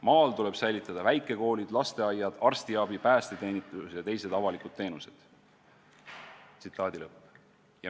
Maal tuleb säilitada väikekoolid, lasteaiad, arstiabi, päästeteenistus ja teised avalikud teenused.